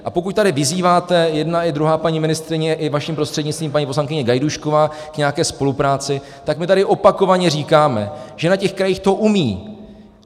A pokud tady vyzýváte, jedna i druhá paní ministryně, i vaším prostřednictvím paní poslankyně Gajdůšková, k nějaké spolupráci, tak my tady opakovaně říkáme, že na těch krajích to umějí.